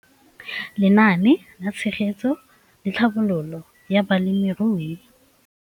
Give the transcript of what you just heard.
Lenaane la Tshegetso le Tlhabololo ya Balemirui